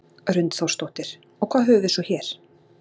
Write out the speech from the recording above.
Hrund Þórsdóttir: Og hvað höfum við svo hér?